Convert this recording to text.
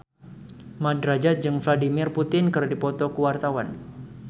Mat Drajat jeung Vladimir Putin keur dipoto ku wartawan